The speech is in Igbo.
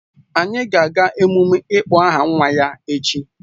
Anyị ga-aga emume ịkpọ aha nwa ya echi